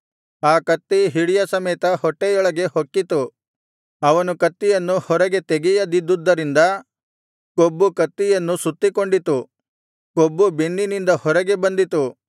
ಆ ಕತ್ತಿ ಹಿಡಿಯ ಸಮೇತ ಹೊಟ್ಟೆಯೊಳಗೆ ಹೊಕ್ಕಿತು ಅವನು ಕತ್ತಿಯನ್ನು ಹೊರಗೆ ತೆಗೆಯದಿದ್ದುದರಿಂದ ಕೊಬ್ಬು ಕತ್ತಿಯನ್ನು ಸುತ್ತಿಕೊಂಡಿತು ಕೊಬ್ಬು ಬೆನ್ನಿನಿಂದ ಹೊರಗೆ ಬಂದಿತು